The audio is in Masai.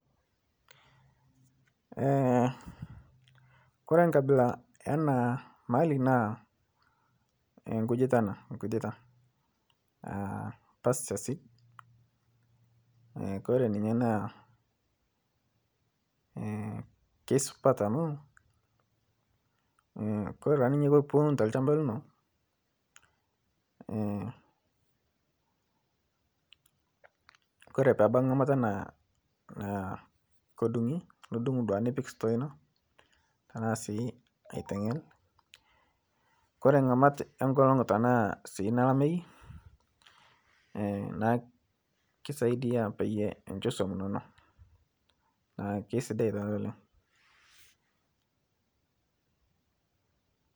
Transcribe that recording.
Kore nkabila ena mali naa nkujitaa ana, enkujitaa pasture seed kore ninyee naa keisupat amu kore duake ninyee tiniwun telshampa linoo Kore peebaki ng'amata naa kodung'i nidung' duake nipik store inoo tanaa sii aitenyel Kore ng'amat enkolong' tanaa sii nalamei naa kisaidia peiyee inshoo suom inonoo naa keisidai taa oleng'.